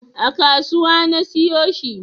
A kasuwa na siyo shi